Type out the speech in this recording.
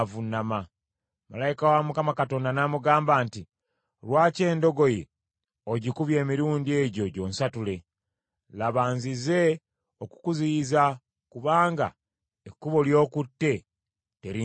Malayika wa Mukama Katonda n’amugamba nti, “Lwaki endogoyi ogikubye emirundi egyo gyonsatule? Laba, nzize okukuziyiza kubanga ekkubo ly’okutte terinsanyusa.